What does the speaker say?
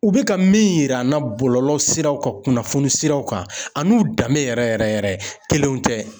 U bɛ ka min yira an na bɔlɔlɔ siraw kan kunnafoni siraw kan an n'u danbe yɛrɛ yɛrɛ yɛrɛ kelenw tɛ.